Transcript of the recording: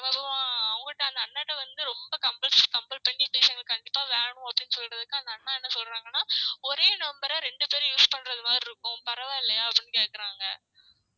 அவங்கட்ட அந்த அண்ணாட்ட வந்து ரொம்ப compels~ compel பண்ணி please எங்களுக்கு கண்டிப்பா வேணும் அப்டின்னு சொல்றதுக்கு அந்த அண்ணா என்ன சொல்றாங்கன்னா ஒரே number அ ரெண்டு பேர் use பண்றது மாதிரி இருக்கும் பரவால்லையா அப்டின்னு கேக்குறாங்க